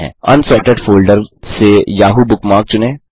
unsorted folder से Yahoo bookmark चुनें